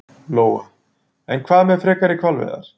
Lóa: En hvað með frekari hvalveiðar?